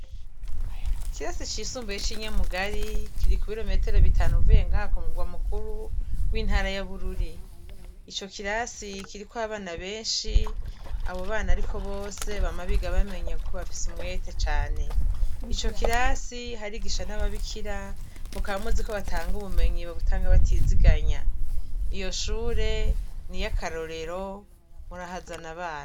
Ku kirasi c'isumbuye ci Nyamugari, kiri kubirometero bitanu uvuye ku mugwa mukuru w'intara ya Bururi, ico kirasi kiriko abana benshi, abo bana ariko bose bama biga bamenya kuko bafise umwete cane. Ico kirasi harigisha n'ababikira mukaba muziko batanga ubumenyi bakaba babutanga batiziganya. Iyo shure niry'akarorero, murahazana abana.